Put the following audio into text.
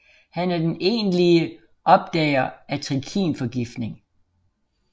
Han er den egentlige opdager af trikinforgiftning